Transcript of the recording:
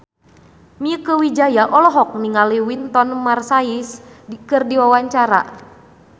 Mieke Wijaya olohok ningali Wynton Marsalis keur diwawancara